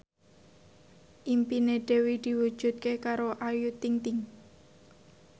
impine Dewi diwujudke karo Ayu Ting ting